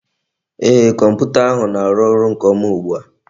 Ee, Kọmputa ahụ na-arụ ọrụ nke ọma ugbua